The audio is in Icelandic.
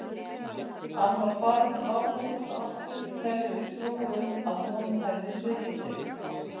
Hann var farinn að áfellast Ástu, telja sér trú um að hún hefði svikið sig.